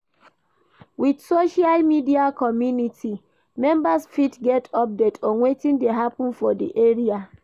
With social media community members fit get update on wetin dey happen for di area